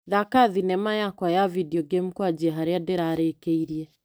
Thaka thinema yakwa ya video game kwanjia harĩa ndirarĩkĩirie.